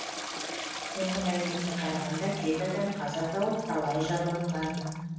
соңғы мәліметке қарағанда жеті адам қаза тауып талайы жараланған